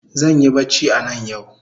Zanyi bacci anan yau